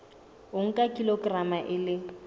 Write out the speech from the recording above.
o nka kilograma e le